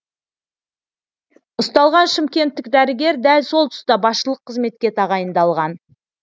ұсталған шымкенттік дәрігер дәл сол тұста басшылық қызметке тағайындалған